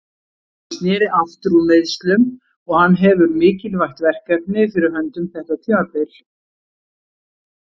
Hann sneri aftur úr meiðslum og hann hefur mikilvægt verkefni fyrir höndum þetta tímabil.